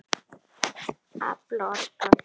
Afl og orka